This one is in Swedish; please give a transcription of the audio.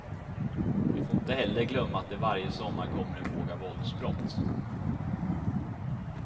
Vi får inte heller glömma att det varje sommar kommer en våg av våldsbrott.